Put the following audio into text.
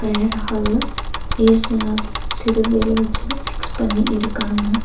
Prayer hall ல இயேசுநாதர் சிலுவைலவச்சு ஃபிக்ஸ் பண்ணி இருக்காங்க.